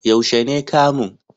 Yaushe ne kamun?